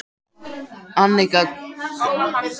Annika, hvað er í dagatalinu mínu í dag?